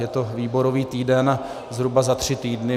Je to výborový týden, zhruba za tři týdny.